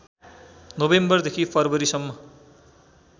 नोभेम्बरदेखि फरवरीसम्म